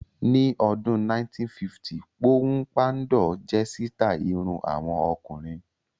Ní ọdún 1950 póḿpádọ́ọ̀ jẹ́ sítàì irun àwọn ọkùnrin.